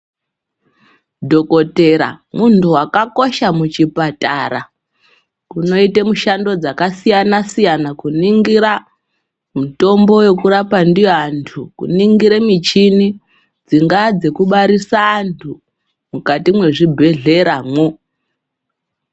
Dhokodhera munhu wakakosha muchipatara unoite mishando dzakasiyana siyana kuningire mitombo yekurapa ndiyo antu. Kuningire mishini dzingaa dzekubarisa antu mukati mwechibhedhlera mwo.